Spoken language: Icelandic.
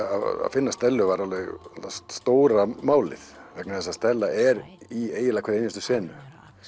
finna Stellu var alveg stóra málið vegna þess að Stella er í eiginlega hverri einustu senu